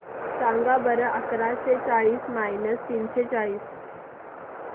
सांगा बरं अकराशे चाळीस मायनस तीनशे चाळीस